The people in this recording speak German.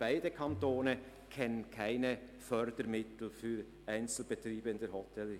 Beide Kantone kennen keine Fördermittel für Einzelbetriebe in der Hotellerie.